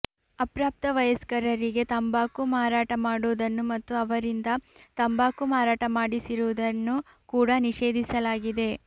ಅಪ್ರಾಪ್ತ ವಯಸ್ಕರರಿಗೆ ತಂಬಾಕು ಮಾರಾಟ ಮಾಡುವುದನ್ನು ಮತ್ತು ಅವರಿಂದ ತಂಬಾಕು ಮಾರಾಟ ಮಾಡಿಸಿರುವುದನ್ನು ಕೂಡಾ ನಿಷೇಧಿಸಲಾಗಿದೆ